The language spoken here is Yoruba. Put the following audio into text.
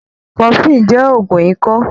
Cofflin jẹ́ ògun ikọ́.